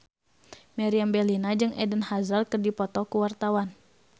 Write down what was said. Meriam Bellina jeung Eden Hazard keur dipoto ku wartawan